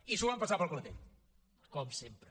i s’ho van passar pel clatell com sempre